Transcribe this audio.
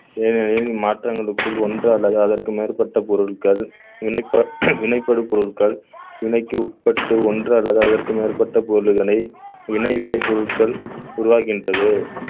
ஏனெனில் மாற்றங்களுக்குள் ஒன்று அல்லது அதற்கு மேற்பட்ட பொருட்கள் வினைப்ப~ வினைப்படும் பொருட்கள் வினைக்கு உட்பட்டு ஒன்று அல்லது அதற்கு மேற்பட்ட பொருள்களை வினைவிளைப் பொருட்கள் உருவாகின்றது